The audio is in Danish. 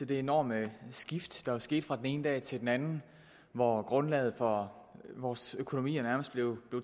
det enorme skift der skete fra den ene dag til den anden hvor grundlaget for vores økonomier nærmest blev